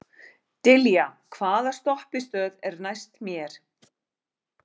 Dilja, hvaða stoppistöð er næst mér?